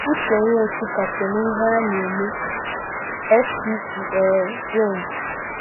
Ụche Nwosụ ka so n'ihe a na-eme -FCC um Jones